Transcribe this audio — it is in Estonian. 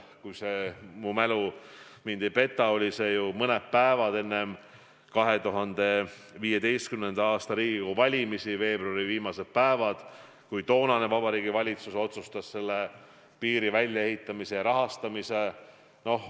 Kui mu mälu mind ei peta, siis see oli mõned päevad enne 2015. aasta Riigikogu valimisi, veebruari viimastel päevadel, kui toonane Vabariigi Valitsus otsustas piiri väljaehitamise ja rahastamise.